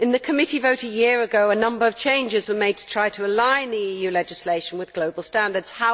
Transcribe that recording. In the committee vote a year ago, a number of changes were made to try to align EU legislation with global standards.